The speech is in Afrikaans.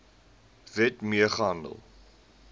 wet mee gehandel